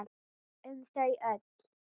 Um þau öll.